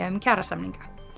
um kjarasamninga